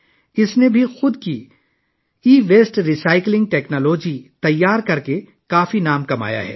اس نے اپنی e waste recycling technology تیار کرکے بہت سارے ایوارڈز بھی حاصل کیے ہیں